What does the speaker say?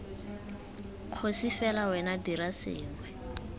kgosi fela wena dira sengwe